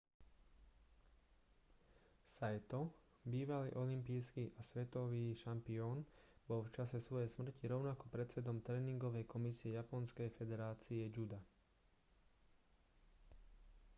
saito bývalý olympijský a svetový šampión bol v čase svojej smrti rovnako predsedom tréningovej komisie japonskej federácie juda